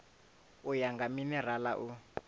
u ya nga minerala u